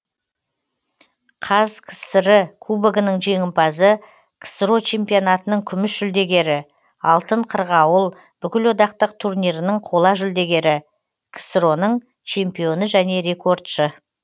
қазкср і кубогінің жеңімпазы ксро чемпионатының күміс жүлдегері алтын қырғауыл бүкілодактық турнирінің қола жүлдегері ксро ның чемпионы және рекордшы